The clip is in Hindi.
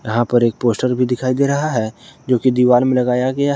यहां पर एक पोस्टर भी दिखाई दे रहा है जोकि दीवाल में लगाया गया है।